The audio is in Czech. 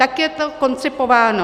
Tak je to koncipováno.